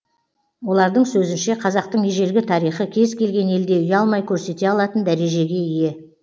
олардың сөзінше қазақтың ежелгі тарихы кез келген елде ұялмай көрсете алатын дәрежеге ие